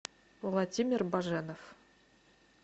владимир баженов